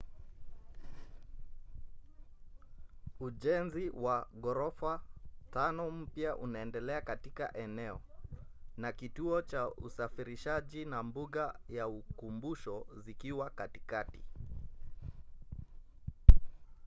ujenzi wa ghorofa tano mpya unaendelea katika eneo na kituo cha usafirishaji na mbuga ya ukumbusho zikiwa katikati